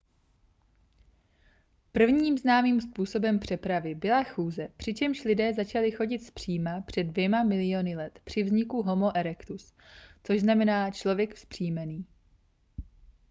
prvním známým způsobem přepravy byla chůze přičemž lidé začali chodit zpříma před dvěma miliony let při vzniku homo erectus což znamená člověk vzpřímený